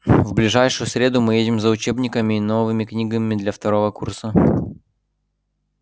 в ближайшую среду мы едем за учебниками и новыми книгами для второго курса